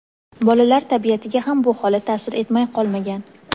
Bolalar tabiatiga ham bu holat taʼsir etmay qolmagan.